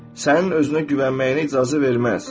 Sənin özünə güvənməyinə icazə verməz.